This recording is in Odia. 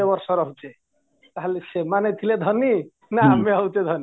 ବର୍ଷ ରହୁଛେ ତାହାଲେ ସେମାନେ ଥିଲେ ଧନୀ ନା ଆମେ ହଉଛେ ଧନୀ